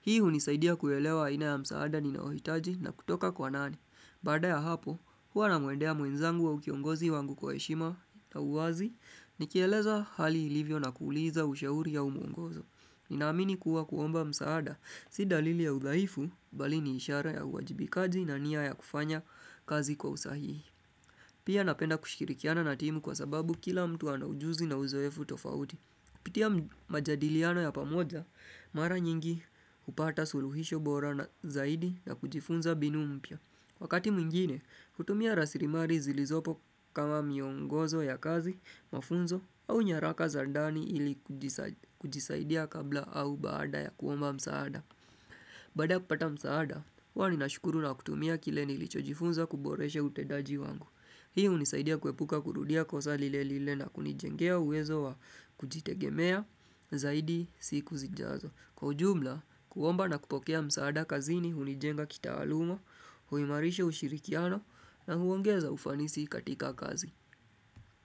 Hii hunisaidia kuelewa haina ya msaada ninayohitaji na kutoka kwa nani. Baada ya hapo, huwa namuendea mwenzangu wa ukiongozi wangu kwa heshima na uwazi, nikieleza hali ilivyo na kuuliza usheuri ya umuongozo. Ninaamini kuwa kuomba msaada, si dalili ya udhaifu, bali ni ishara ya uwajibikaji na nia ya kufanya kazi kwa usahihi. Pia napenda kushirikiana na timu kwa sababu kila mtu anaujuzi na uzoefu tofauti. Kupitia majadiliano ya pamoja, mara nyingi hupata suluhisho bora na zaidi na kujifunza mbinu mpya. Wakati mwingine, hutumia rasilimali zilizopo kama miongozo ya kazi, mafunzo au nyaraka za ndani ilikujisaidia kabla au baada ya kuomba msaada. Baada ya kupata msaada, huwa ninashukuru na kutumia kile nilichojifunza kuboreshe utendaji wangu. Hii hunisaidia kuepuka kurudia kosa lile lile na kunijengea uwezo wa kujitegemea zaidi siku zijazo. Kwa ujumla, kuomba na kupokea msaada kazini hunijenga kitaalumo, huimarisha ushirikiano na huongeza ufanisi katika kazi.